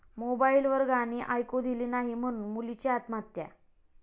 मोबाईलवर गाणी ऐकू दिली नाही म्हणून मुलीची आत्महत्या